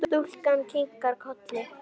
Stúlkan kinkar kolli.